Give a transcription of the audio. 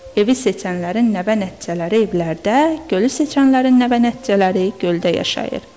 Evi seçənlərin nənə-nəticələri evlərdə, gölü seçənlərin nənə-nəticələri göldə yaşayır.